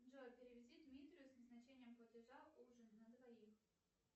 джой переведи дмитрию с назначением платежа ужин на двоих